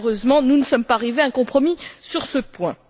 Malheureusement, nous ne sommes pas arrivés à un compromis sur ce point.